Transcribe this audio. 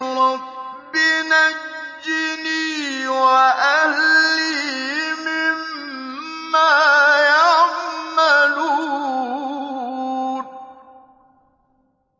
رَبِّ نَجِّنِي وَأَهْلِي مِمَّا يَعْمَلُونَ